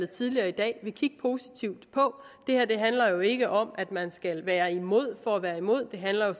tidligere i dag vil kigge positivt på det her handler jo ikke om at man skal være imod for at være imod det handler jo